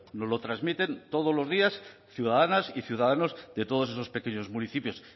nos lo transmiten todos los días ciudadanas y ciudadanos de todos esos pequeños municipios